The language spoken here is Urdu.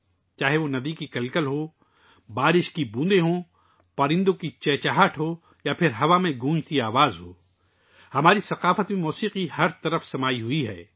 دریا کی گنگناہٹ ہو، بارش کی بوندیں، پرندوں کی چہچہاہٹ ہو یا ہوا کی گونجتی ہوئی آواز، موسیقی ہماری تہذیب میں ہر جگہ موجود ہے